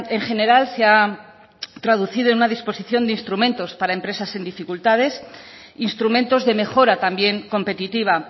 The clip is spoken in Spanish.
en general se ha traducido en una disposición de instrumentos para empresas en dificultades instrumentos de mejora también competitiva